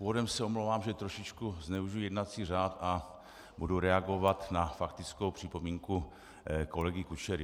Úvodem se omlouvám, že trošičku zneužiji jednací řád a budu reagovat na faktickou připomínku kolegy Kučery.